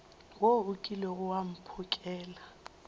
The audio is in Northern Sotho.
wo o kilego wa mphokela